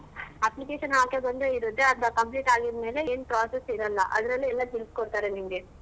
Application ಹಾಕದೊಂದೆ ಇರತ್ತೆ ಅದ್ complete ಆಗಿದ್ ಮೇಲೆ ಏನ್ process ಇರಲ್ಲ ಅದ್ರಲ್ಲೆ ಎಲ್ಲಾ ತಿಳಿಸ್ಕೊಡ್ತಾರೆ ನಿಂಗೆ.